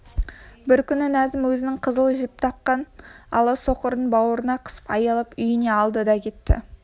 бір күні назым өзінің қызыл жіп таққан ала соқырын бауырына қысып аялап үйіне алды да кетті